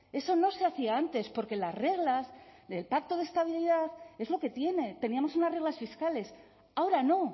eso no se hacía antes porque las reglas del pacto de estabilidad es lo que tiene teníamos unas reglas fiscales ahora no